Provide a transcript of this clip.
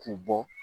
K'u bɔ